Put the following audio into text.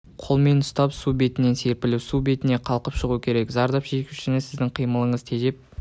қолмен ұстап су түбінен серпіліп су бетіне қалқып шығу керек зардап шегушіні сіздің қимылыңызды тежеп